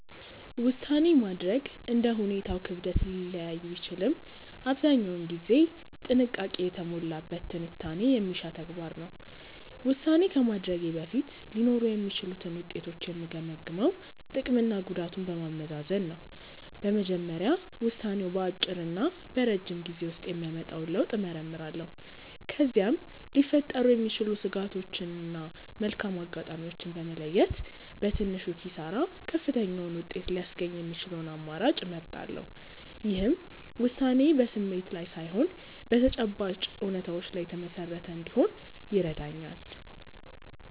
ውሳኔ ማድረግ እንደ ሁኔታው ክብደት ሊለያይ ቢችልም አብዛኛውን ጊዜ ጥንቃቄ የተሞላበት ትንታኔ የሚሻ ተግባር ነው። ውሳኔ ከማድረጌ በፊት ሊኖሩ የሚችሉትን ውጤቶች የምገመግመው ጥቅምና ጉዳቱን በማመዛዘን ነው። በመጀመሪያ ውሳኔው በአጭርና በረጅም ጊዜ ውስጥ የሚያመጣውን ለውጥ እመረምራለሁ። ከዚያም ሊፈጠሩ የሚችሉ ስጋቶችን እና መልካም አጋጣሚዎችን በመለየት፣ በትንሹ ኪሳራ ከፍተኛውን ውጤት ሊያስገኝ የሚችለውን አማራጭ እመርጣለሁ። ይህም ውሳኔዬ በስሜት ላይ ሳይሆን በተጨባጭ እውነታዎች ላይ የተመሰረተ እንዲሆን ይረዳኛል።